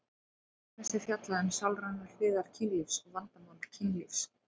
Til dæmis er fjallað um sálrænar hliðar kynlífs og vandamál kynlífs.